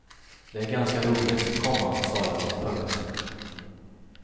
Det är ganska roligt, komma sa jag. punkt